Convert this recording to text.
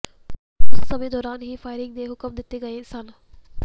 ਉਸ ਸਮੇਂ ਦੌਰਾਨ ਹੀ ਫਾਇਰਿੰਗ ਦੇ ਹੁਕਮ ਦਿੱਤੇ ਗਏ ਸਨ